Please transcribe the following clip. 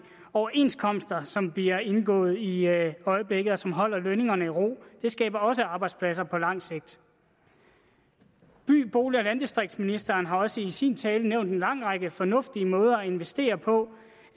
overenskomster som bliver indgået i øjeblikket og som holder lønningerne i ro det skaber også arbejdspladser på lang sigt by bolig og landdistriktsministeren har også i sin tale nævnt en lang række fornuftige måder at investere på